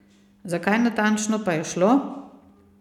Za kaj natančno pa je šlo?